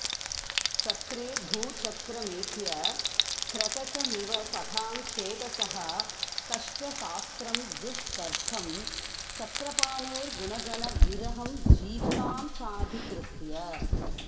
चक्रे भूचक्रमेत्य क्रकचमिव सतां चेतसः कष्टशास्त्रं दुस्तर्कं चक्रपाणेर्गुणगण विरहं जीवतां चाधिकृत्य